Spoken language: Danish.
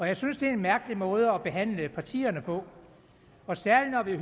jeg synes det er en mærkelig måde at behandle partierne på særlig når vi